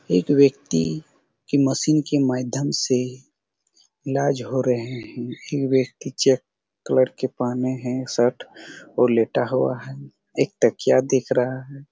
एक व्यक्ति की मशीन की माध्यम से ईलाज हो रहे है एक व्यक्ति चेक कलर का पहने है शर्ट और लेटा हुआ है एक तकिया दिख रहा है।